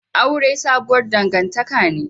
Aure sabuwar dangantaka ne